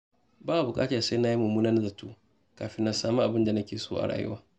Ba a buƙatar sai na yi mummunan zato kafin na sami abin da nake so a rayuwa.